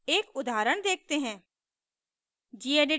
एक उदाहरण देखते हैं